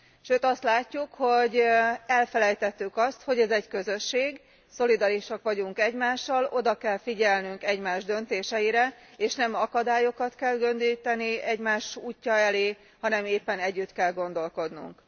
Sőt, azt látjuk, hogy elfelejtettük azt, hogy ez egy közösség, szolidárisak vagyunk egymással, oda kell figyelnünk egymás döntéseire, és nem akadályokat kell gördíteni egymás útja elé, hanem éppen együtt kell gondolkodnunk.